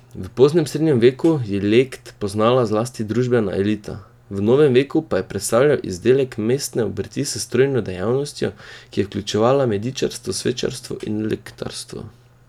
V poznem srednjem veku je lect poznala zlasti družbena elita, v novem veku pa je predstavljal izdelek mestne obrti s trojno dejavnostjo, ki je vključevala medičarstvo, svečarstvo in lectarstvo.